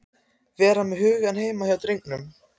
Vera með hugann heima hjá drengnum.